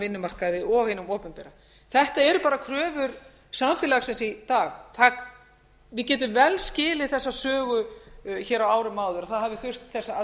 vinnumarkaði og hinum opinbera þetta eru bara kröfur samfélagsins í dag við getum vel skilið þessa sögu hér á árum áður að það hafi þurft þessa